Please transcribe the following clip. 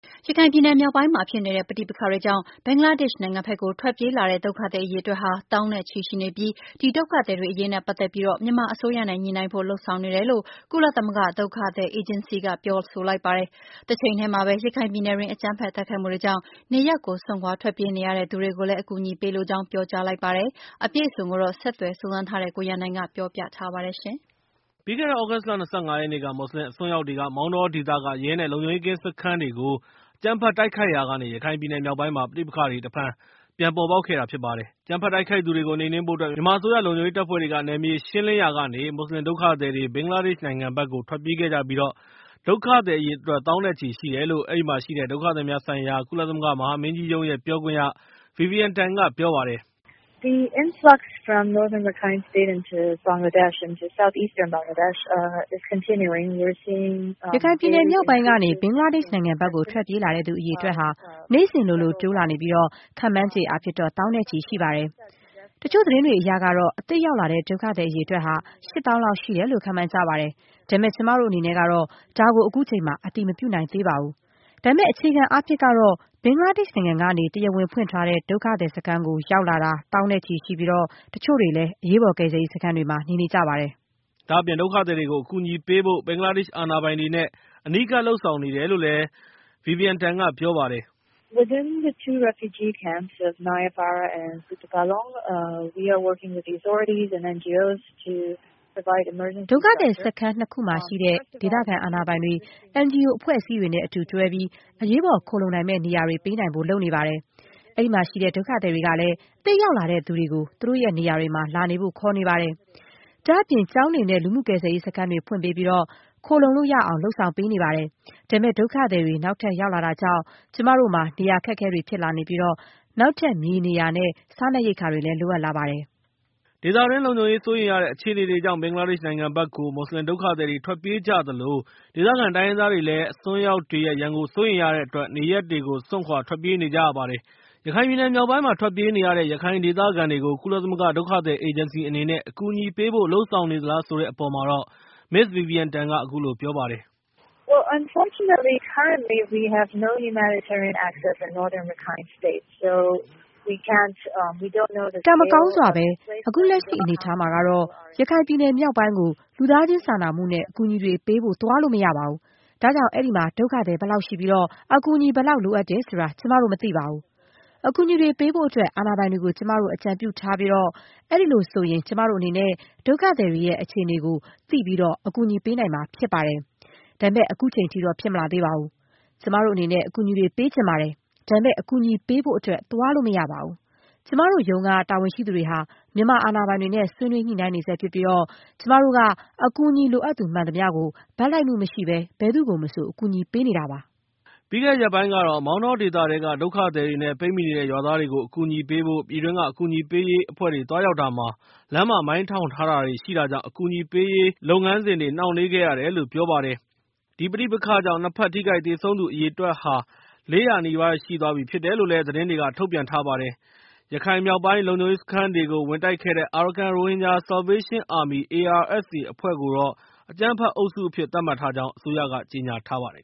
ရခိုင်ပြည်နယ်မြောက်ပိုင်းမှာ ဖြစ်နေတဲ့ ပဋိပက္ခတွေကြောင့် ဘင်္ဂလားဒေ့်ရှ်နိုင်ငံဘက်ကို ထွက်ပြေးလာတဲ့ဒုက္ခသည်အရေအတွက်ဟာ သောင်းနဲ့ချီရှိနေပြီး၊ ဒီဒုက္ခသည်တွေအရေးနဲ့ ပတ်သက်ပြီး မြန်မာအစိုးရနဲ့ ညှိနှိုင်းဖို့လုပ်ဆောင်နေတယ်လို့ ကုလသမဂ္ဂဒုက္ခသည်အေဂျင်စီက ပြောလိုက်ပါတယ်။ တချိန်တည်းမှာပဲ ရခိုင်ပြည်နယ်တွင်း အကြမ်းဖက်တိုက်ခိုက်မှုတွေကြောင့် နေရပ်ကိုစွန့်ခွာထွက်ပြေးနေရတဲ့သူတွေ ကိုလည်း အကူအညီပေးလိုကြောင်း ပြောကြားလိုက်ပါတယ်။ ဒီအကြောင်းအပြည့်အစုံကိုတော့ ဆက်သွယ်စုံစမ်းထားတဲ့ ကိုရန်နိုင်က ပြောပြပေးမှာဖြစ်ပါတယ်။ ပြီးခဲ့တဲ့ သြဂုတ်လ ၂၅ ရက်နေ့က မွတ်စလင်အစွန်းရောက်တွေက မောင်တောဒေသက ရဲ နဲ့ လုံခြုံရေးကင်းစခန်းတွေကို အကြမ်းဖက် တိုက်ခိုက်ရာကနေ ရခိုင်ပြည်နယ်မြောက်ပိုင်းမှာ ပဋိပက္ခတွေ တဖန်ပြန်ပေါ်ပေါက်လာခဲ့တာဖြစ်ပါတယ်။ အကြမ်းဖက်တိုက်ခိုက်သူတွေကို နှိမ်နှင်းဖို့အတွက် မြန်မာအစိုးရ လုံခြုံရေးတပ်ဖွဲ့တွေက နယ်မြေရှင်းလင်းရာကနေ မွတ်စလင် ဒုက္ခသည်တွေ ဘင်္ဂလားဒေ့ရှ်နိုင်ငံဘက်ကို ထွက်ပြေးခဲ့ပြီး ဒုက္ခသည်အရေအတွက် သောင်းနဲ့ ရှိတယ်လို့ အဲဒီမှာရှိတဲ့ ဒုက္ခသည်များဆိုင်ရာ ကုလသမဂ္ဂမဟာမင်းကြီးရုံးရဲ့ ပြောခွင့်ရ Vivian Tan က ပြောပါတယ်။ "ရခိုင်ပြည်နယ်မြောက်ပိုင်းကနေ ဘင်္ဂလားဒေ့ရှ်နိုင်ငံဘက်ကို ထွက်ပြေးလာတဲ့သူအရေအတွက်ဟာ နေ့စဉ်လိုလို တိုးလာနေပြီး ခန့်မှန်းချေအားဖြင့် သောင်းနဲ့ ချီရှိပါတယ်။ တချို့သတင်းတွေအရတော့ အသစ်ရောက်လာတဲ့ ဒုက္ခသည်အရေအတွက်ဟာ ၈ သောင်းလောက်ရှိတယ်လို့ ခန့်မှန်းကြပါတယ်။ ဒါပေမဲ့ ကျမတို့အနေနဲ့တော့ ဒါကို အခုချိန်မှာတော့ အတည်မပြုနိုင်သေးပါဘူး။ ဒါပေမဲ့ အခြေခံအားဖြင့်တော့ ဘင်္ဂလားဒေ့ရှ်နိုင်ငံကနေ တရားဝင်ဖွင့်ထားတဲ့ ဒုက္ခသည်စခန်း ကိုရောက်လာတာ သောင်းနဲ့ချီရှိပြီး ၊ တချို့တွေလည်း အရေးပေါ်ကယ်ဆယ်ရေးစခန်းတွေမှာ နေနေကြပါတယ်။" ဒါ့အပြင် ဒုက္ခသည်တွေကို အကူအညီပေးဖို့အတွက် ဘင်္ဂလားဒေ့ရှ် အာဏာပိုင်တွေ နဲ့ အနီးကပ်လုပ်ဆောင်နေတယ်လို့ Vivian Tan က ပြောပါတယ်။ "ဒုက္ခသည်စခန်း ၂ ခုမှာရှိတဲ့ ဒေသခံအာဏာပိုင်တွေ NGO အဖွဲ့အစည်းတွေနဲ့ အတူတွဲပြီး အရေးပေါ်ခိုလှုံနိုင်မယ်နေရာတွေပေးနိုင်ဖို့ လုပ်နေပါတယ်။ အဲဒီမှာရှိတဲ့ ဒုက္ခသည်တွေကလည်း အသစ်ရောက်လာတဲ့သူတွေကိုသူတို့ရဲ့ နေရာတွေမှာ လာနေဖို့ခေါ်နေပါတယ်။ ဒါ့အပြင် ကျောင်းတွေ နဲ့ လူမှုကယ်ဆယ်ရေးစခန်းတွေဖွင့်ပေးပြီး ခိုလှုံလို့ရအောင်လုပ်ဆောင်နေပါတယ်။ ဒါပေမဲ့ ဒုက္ခသည်တွေ နောက်ထပ် ရောက်လာတာကြောင့်၊ ကျမတို့မှာ နေရာအခက်အခဲတွေဖြစ်လာနေပြီး၊ နောက်ထပ် မြေနေရာ နဲ့ စားနှပ်ရိက္ခာတွေ လိုအပ်လာ နေပါတယ်။" ဒေသတွင်း လုံခြုံရေး စိုးရိမ်ရတဲ့အခြေအနေတွေကြောင့် ဘင်္ဂလားဒေ့ရှ်နိုင်ငံဘက်ကို မွတ်စလင်ဒုက္ခသည်တွေ ထွက်ပြေးကြသလို၊ ဒေသခံရခိုင်တိုင်းရင်းသားတွေလည်း အစွန်းရောက်တွေရဲ့ ရန်ကို စိုးရိမ်နေရတဲ့အတွက် နေရပ်တွေကို စွန့်ခွာထွက်ပြေးနေကြရပါတယ်။ ရခိုင်ပြည်နယ်မြောက်ပိုင်းမှာ ထွက်ပြေးနေရတဲ့ ရခိုင်ဒေသခံတွေကို ကုလသမဂ္ဂ ဒုက္ခသည်အေဂျင်စီ အနေနဲ့ အကူအညီပေးဖို့ လုပ်ဆောင်နေသလား ဆိုတဲ့အပေါ်မှာ Ms. Vivian Tan က အခုလို ပြောပါတယ်။ "ကံမကောင်းစွာပဲ၊ အခုလက်ရှိအနေအထားမှာတော့ ရခိုင်ပြည်နယ်မြောက်ပိုင်းကို လူသားချင်းစာနာနဲ့ အကူအညီတွေပေးဖို့ သွားလို့မရပါဘူး ။ ဒါကြောင့် အဲဒီမှာ ဒုက္ခသည်ဘယ်လောက်ရှိပြီး၊ အကူအညီဘယ်လောက်လိုတယ်ဆိုတာ ကျမတို့မသိပါဘူး။ အကူအညီတွေပေးဖို့အတွက် အာဏာပိုင်တွေကို ကျမတို့ အကြံပြုထားပြီး၊ အဲဒီလိုဆိုရင် ကျမတို့အနေနဲ့ ဒုက္ခသည်တွေရဲ့ အခြေအနေကို သိပြီး အကူအညီပေးနိုင်မှာဖြစ်ပါတယ်။ ဒါပေမဲ့ အခုချိန်ထိတော့ ဖြစ်မလာသေးပါဘူး။ ကျမတို့အနေနဲ့ အကူအညီတွေပေးချင်ပါတယ်။ ဒါပေမဲ့ အကူညီပေးဖို့အတွက် သွားလို့မရပါဘူး။ ကျမတို့ ရန်ကုန်ရုံးက တာဝန်ရှိသူတွေဟာ မြန်မာအာဏာပိုင်တွေနဲ့ ဆွေးနွေးညှိနှိုင်းနေဆဲဖြစ်ပြီး ၊ ကျမတို့က အကူအညီလိုအပ်သူမှန်သမျှကို ဘက်လိုက်မှုမရှိဘဲ၊ ဘယ်သူကိုမဆို အကူအညီပေးနေတာဖြစ်ပါတယ်။" ပြီးခဲ့တဲ့ ရက်ပိုင်းကတော့ မောင်တောဒေသထဲက ဒုက္ခသည်တွေနဲ့ ပိတ်မိနေတဲ့ ရွာသားတွေကို အကူအညီပေးဖို့ ပြည်တွင်းက အကူအညီပေးရေးအဖွဲ့တွေသွားရောက်တာမှာ လမ်းမှာမိုင်းထောင်တာတွေရှိတာကြောင့် လုပ်ငန်းစဉ်တွေနှောင့်နှေးရတယ်လို့ အကူအညီပေးရေးအဖွဲ့တွေက ပြောပါတယ်။ ဒီပဋိပက္ခကြောင့် ၂ ဘက် ထိခိုက်သေဆုံးသူဦးရေ အရေအတွက်ဟာ ၄၀၀ ကျော်ရှိသွားပြီဖြစ်တယ်လို့ သတင်းတွေက ထုတ်ပြန်ထားပါတယ်။ ရခိုင်မြောက်ပိုင်းက လုံခြုံရေးစခန်းတွေကို ဝင်တိုက်ခဲ့တဲ့ Arakan Rohingya Salvation Army အဖွဲ့ကို အကြမ်းဖက်အုပ်စုအဖြစ် သတ်မှတ်ကြောင်း အစိုးရက ကြေညာထားပါတယ်